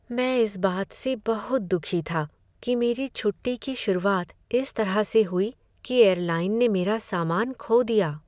मैं इस बात से बहुत दुखी था कि मेरी छुट्टी की शुरुआत इस तरह से हुई कि एयरलाइन ने मेरा सामान खो दिया।